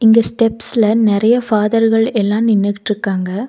இந்த ஸ்டெப்ஸ்ல நெறைய ஃபாதர்கள் எல்லா நின்னுகுட்டுக்காங்க.